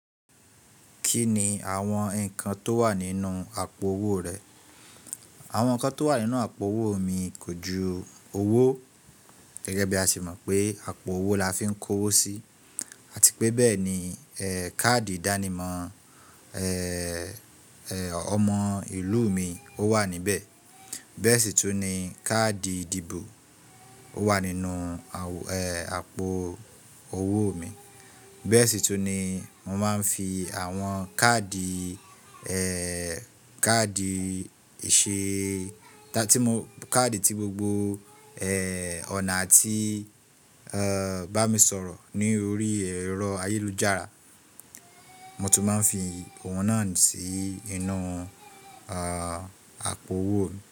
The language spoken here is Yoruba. Kí ni àwọn nǹkan tó wà nínú àpò owó rẹ? Àwọn nǹkan tó wà nínú àpò owó mi kò ju owó gẹ́gẹ́ bí a se mọ̀ pé àpò owó la fi ń kó owó sí àti pé bẹ́ẹ̀ ni ẹẹ káàdì ìdánimọ̀ ẹẹ ọmọ ìlú mi o wà níbẹ̀. Bẹ́ẹ̀ sì tún ni káàdì ìdìbò o wà nínú awo ẹẹ àpò owó mi. Bẹ́ẹ̀ sì tún ni mo máa ń fi àwọn káàdì, ẹẹ káàdì ìṣe tí mo, káàdì tí gbogbo ẹẹ ọ̀nà atí bá mi sọ̀rọ̀ ní orí ẹ̀rọ ayélujára, mo tún máa ń fi òun náà sì inú a àpò owó mi.